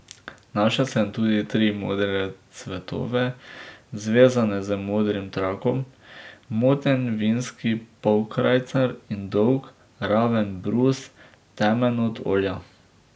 Našel sem tudi tri modre cvetove, zvezane z modrim trakom, moten vintski polkrajcar in dolg, raven brus, temen od olja.